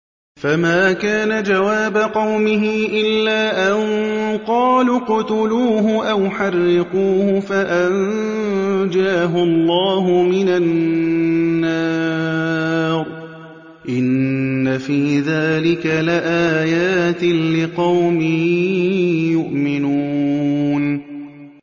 فَمَا كَانَ جَوَابَ قَوْمِهِ إِلَّا أَن قَالُوا اقْتُلُوهُ أَوْ حَرِّقُوهُ فَأَنجَاهُ اللَّهُ مِنَ النَّارِ ۚ إِنَّ فِي ذَٰلِكَ لَآيَاتٍ لِّقَوْمٍ يُؤْمِنُونَ